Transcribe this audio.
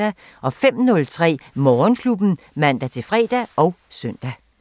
05:03: Morgenklubben (man-fre og søn)